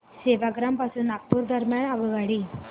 सेवाग्राम पासून नागपूर दरम्यान आगगाडी